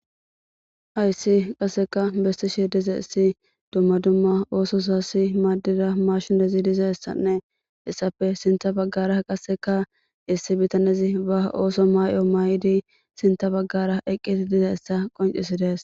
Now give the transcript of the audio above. Hayssi qasseka bessishe dizayssi dumma dumma oosozas maadiza mashinezi dizayssanne hessappe sinththa bagara qasseka issi bitanezi ba ooso may7o may7idi sinththa bagara eqqidi dizayssa qonccisidees.